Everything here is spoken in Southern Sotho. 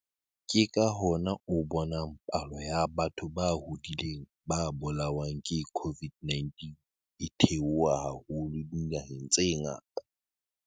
Ke ka hona o bonang palo ya batho ba hodileng ba bolawang ke COVID-19 e theoha haholo dinaheng tse ngata.